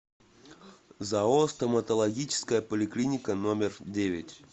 зао стоматологическая поликлиника номер девять